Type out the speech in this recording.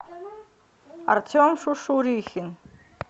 артем шушурихин